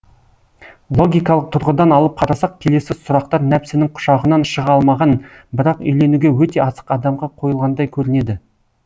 логикалық тұрғыдан алып қарасақ келесі сұрақтар нәпсінің құшағынан шыға алмаған бірақ үйленуге өте асық адамға қойылғандай көрінеді